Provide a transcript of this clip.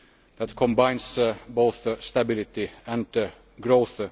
that combines both stability and growth.